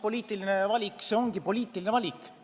Poliitiline valik ongi poliitiline valik.